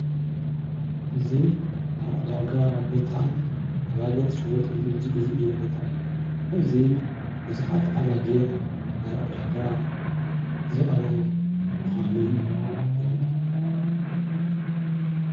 እዙይ ናይ ዕዳጋ ቦታ ኣብ ኣጊዕቲ ሽጐጥሉ ዙይ ጉዝሉንቦታ እዩ ኣብዙ ብዙኃት ኣባኣጊዕ ናይ ዕዳጋ ዝቕሮ ምዃኖም የርኢ።